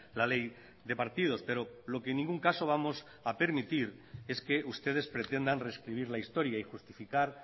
la ley de partidos pero lo que en ningún caso vamos a permitir es que ustedes pretendan rescribir la historia y justificar